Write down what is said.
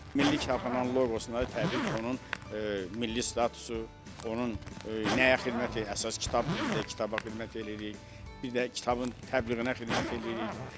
Milli Kitabxananın loqosuna təbii ki, onun milli statusu, onun nəyə xidmət əsas kitabdır bizdə kitaba xidmət eləyirik, bir də kitabın təbliğinə xidmət eləyirik.